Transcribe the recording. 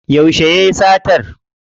Yauce yayi satan?